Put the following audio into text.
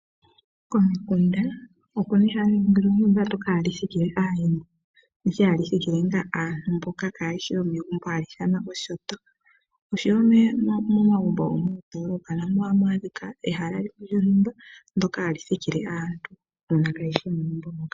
Komikunda opu na ehala ndyoka hali thikile aayenda, ndyoka hali thikile ngaa aantu mboka kaye shi yomegumbo hali ithanwa oshinyanga, oshowo momagumbo gomoondoolopa na mo ohamu adhika ehala limwe lyontumba ndyoka hali thikile aantu mbono kaaye shi yomegumbo moka.